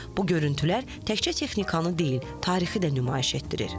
Bu görüntülər təkcə texnikanı deyil, tarixi də nümayiş etdirir.